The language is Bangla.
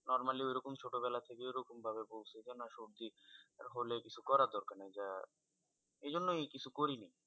Normally ওইরকম ছোটোবেলা থেকেই ওরকম ভাবে ভুগছি, যেন সর্দি হলে কিছু করার দরকার নেই। বা এইজন্যই কিছু করিনি।